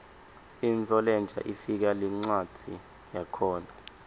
intfo lensha ifika nencwadzi yakhona